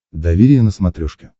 доверие на смотрешке